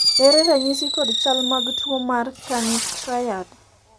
ere ranyisi kod chal mag tuo mar Kani triad?